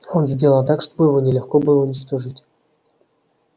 он сделан так чтобы его нелегко было уничтожить